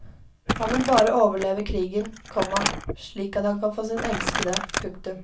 Han vil bare overleve krigen, komma slik at han kan få sin elskede. punktum